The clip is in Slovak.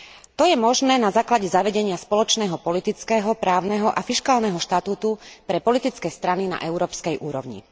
To je možné na základe zavedenia spoločného politického, právneho a fiškálneho štatútu pre politické strany na európskej úrovni.